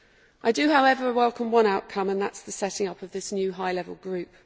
I do, however, welcome one outcome and that is the setting up of the new high level group.